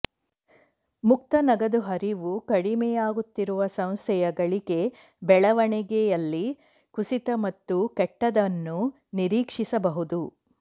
ಮುಕ್ತ ನಗದು ಹರಿವು ಕಡಿಮೆಯಾಗುತ್ತಿರುವ ಸಂಸ್ಥೆಯು ಗಳಿಕೆ ಬೆಳವಣಿಗೆಯಲ್ಲಿ ಕುಸಿತ ಮತ್ತು ಕೆಟ್ಟದ್ದನ್ನು ನಿರೀಕ್ಷಿಸಬಹುದು